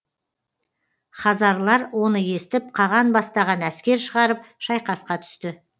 хазарлар оны естіп қаған бастаған әскер шығарып шайқасқа түсті